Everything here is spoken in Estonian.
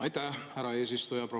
Aitäh, härra eesistuja!